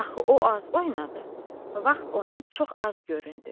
Axı o az oynadı, vaxt ona çox az göründü.